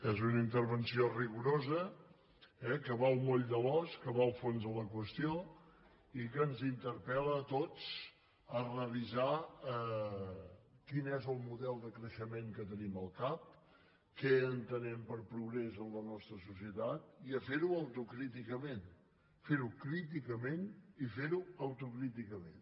és una intervenció rigorosa eh que va al moll de l’os que va al fons de la qüestió i que ens interpel·sar quin és el model de creixement que tenim al cap què entenem per progrés en la nostra societat i a fer ho autocríticament fer ho críticament i fer ho autocríticament